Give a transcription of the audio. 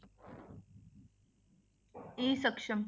E Saksham